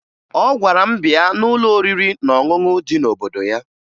Ọ gwara m bịa n'ụlọ oriri na ọṅụṅụ dị n'obodo ya